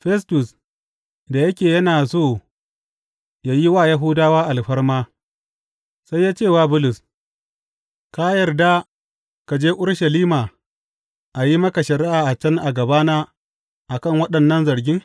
Festus, da yake yana so yă yi wa Yahudawa alfarma, sai ya ce wa Bulus, Ka yarda ka je Urushalima a yi maka shari’a a can a gabana a kan waɗannan zarge?